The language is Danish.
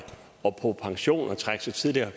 på pension og trække sig tidligere